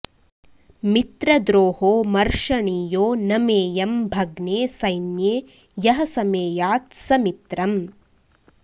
मित्रद्रोहो मर्षणीयो न मेऽयं भग्ने सैन्ये यः समेयात्स मित्रम्